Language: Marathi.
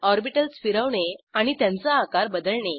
ऑरबिटल्स फिरवणे आणि त्यांचा आकार बदलणे